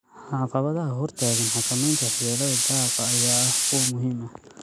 Caqabadaha hortaagan xakamaynta waxyeelada daaqa ayaa ah kuwo muhiim ah.